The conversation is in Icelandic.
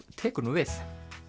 tekur nú við